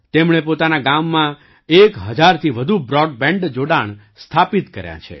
તેમણે પોતાના ગામમાં એક હજારથી વધુ બ્રૉડબેન્ડ જોડાણ સ્થાપિત કર્યાં છે